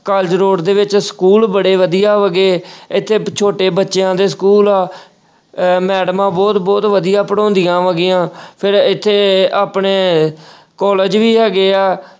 college road ਦੇ ਵਿੱਚ school ਬੜੇ ਵਧੀਆ ਹੈਗੇ ਇੱਥੇ ਛੋਟੇ ਬੱਚਿਆਂ ਦੇ school ਆ ਅਹ ਮੈਡਮਾਂ ਬਹੁਤ ਬਹੁਤ ਵਧੀਆ ਪੜ੍ਹਾਉਂਦੀਆਂ ਹੈਗੀਆਂ ਫਿਰ ਇੱਥੇ ਆਪਣੇ college ਵੀ ਹੈਗੇ ਆ।